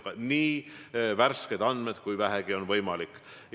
Igatahes nii värsked andmed, kui vähegi on võimalik.